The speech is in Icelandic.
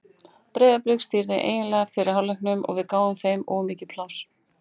Breiðablik stýrði eiginlega fyrri hálfleiknum og við gáfum þeim of mikið pláss.